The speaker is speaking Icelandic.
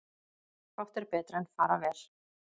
Fátt er betra en fara vel.